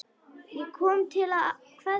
Ég kom til að kveðja.